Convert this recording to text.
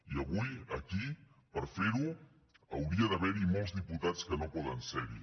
i avui aquí per fer ho hauria d’haver hi molts diputats que no poden ser hi